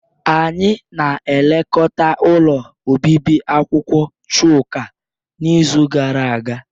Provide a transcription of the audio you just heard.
Anyị na-elekọta ụlọ obibi akwụkwọ Chuka n'izu gara aga